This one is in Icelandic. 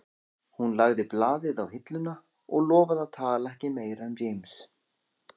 Hún lagði blaðið á hilluna og lofaði að tala ekki meira um James